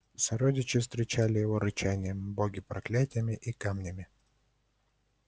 сородичи встречали его рычанием боги проклятиями и камнями